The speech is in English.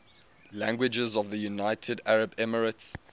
languages of the united arab emirates